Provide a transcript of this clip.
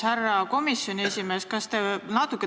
Härra komisjoni esimees!